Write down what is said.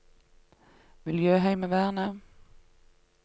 miljøheimevernet